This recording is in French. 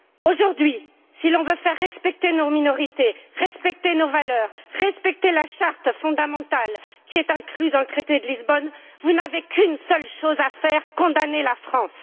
Aujourd'hui, si l'on veut faire respecter nos minorités, respecter nos valeurs, respecter la charte fondamentale qui est incluse dans le traité de Lisbonne, vous n'avez qu'une seule chose à faire condamner la France.